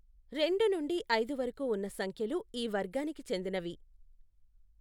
రెండు నుండి ఐదు వరకు ఉన్న సంఖ్యలు ఈ వర్గానికి చెందినవి.